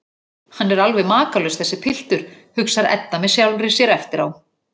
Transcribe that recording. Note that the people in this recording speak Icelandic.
Hann er alveg makalaus, þessi piltur, hugsar Edda með sjálfri sér eftir á.